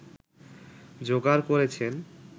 জোগাড় করেছেন